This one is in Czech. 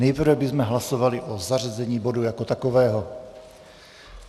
Nejprve bychom hlasovali o zařazení bodu jako takového.